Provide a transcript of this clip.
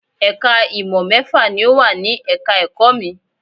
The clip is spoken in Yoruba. Ẹ̀ka ìmọ̀ mẹ́fà ni ò wà ní ẹ̀ka ẹ̀kọ́ mi